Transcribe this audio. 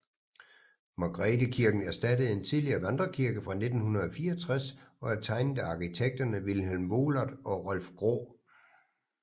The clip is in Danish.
Margrethekirken erstattede en tidligere vandrekirke fra 1964 og er tegnet af arkitekterne Vilhelm Wohlert og Rolf Graae